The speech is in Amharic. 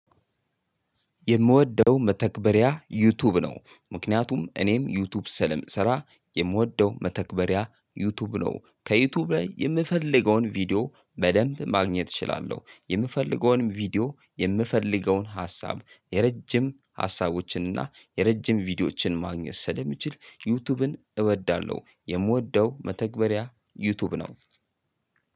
የምወደው መተግበሪያ ዩቲዩብ ነው ምክንያቱም እኔም ዩቲዩብ ስለምሰራ የምወደው መተግበሪያ ዩቲዩብ ነው ከዩቲዩብ ላይ የምፈልገውን ቪዲዮ በደንብ ማግኘት እችላለሁ የምፈልገውንም ቪዲዮ የምፈልገውን ሀሳብ የረጅም ሀሳቦችን እና የረጅም ቪዲዮዎችን ማግኘት ስለሚችል ዩቲዩብን እወዳለሁ የምወደው መተግበሪያ ዩቲዩብ ነው።